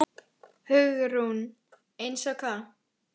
Hugrún: Eins og hvað?